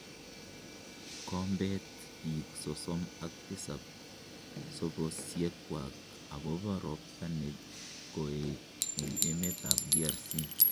Kombeet biik sosom ak tisab sobosiekwak agobo robtaa negoeet en emet ab DRC.